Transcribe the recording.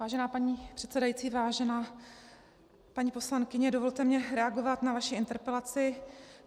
Vážená paní předsedající, vážená paní poslankyně, dovolte mi reagovat na vaši interpelaci.